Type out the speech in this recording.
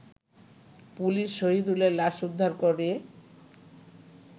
police শহিদুলের লাশ উদ্ধার করে